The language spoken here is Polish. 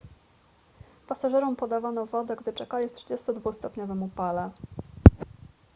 pasażerom podawano wodę gdy czekali w 32-stopniowym upale